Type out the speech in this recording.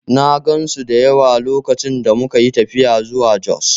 I saw many of them when we traveled to Jos